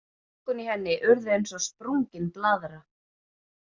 Lungun í henni urðu eins og sprungin blaðra.